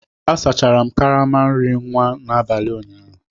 Asachara m karama nri nwa n'abalị ụnyaahụ